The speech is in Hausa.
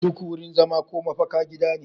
Duk wurin zama ko mafaka gida ne